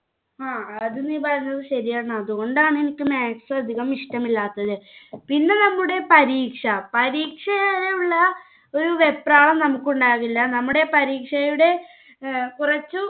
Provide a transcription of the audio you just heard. ങ്ഹാ അത് നീ പറഞ്ഞത് ശരിയാണ്. അതുകൊണ്ടാണ് എനിക്ക് maths അധികം ഇഷ്ടമില്ലാത്തത്. പിന്നെ നമ്മുടെ പരീക്ഷ. പരീക്ഷ വെപ്രാളം നമുക്കുണ്ടാവില്ല. നമ്മുടെ പരീക്ഷയുടെ കുറച്ചു